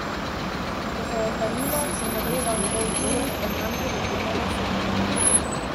Ko se je zdanilo, sem zagledal njegov tilnik in nanj prilepljene lase.